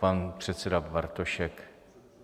Pan předseda Bartošek?